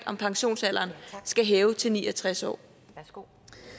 om pensionsalderen skal hæves til ni og tres år år